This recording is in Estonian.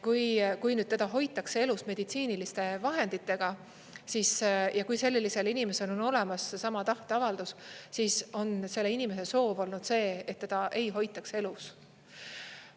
Kui nüüd teda hoitakse elus meditsiiniliste vahenditega ja kui sellisel inimesel on olemas seesama tahteavaldus, siis on selle inimese soov olnud see, et teda ei hoitaks elus.